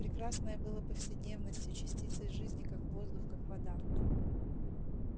прекрасное было повседневностью частицей жизни как воздух как вода